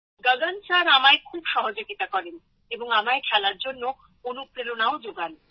গগন sir আমায় খুব সহযোগিতা করেন এবং আমায় খেলার জন্য অনুপ্রেরণা দেন